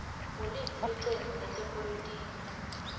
nguliphi licembu letepolitiki